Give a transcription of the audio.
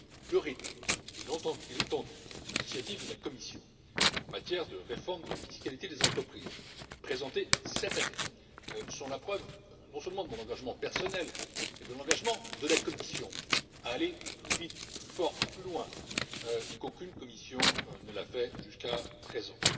Le rythme et l'étendue des initiatives de la Commission en matière de réforme de la fiscalité des entreprises présentées cette année sont la preuve, outre de mon engagement personnel, de l'engagement de la Commission à aller plus vite, plus fort, plus loin qu'aucune Commission ne l'a fait jusqu'à présent.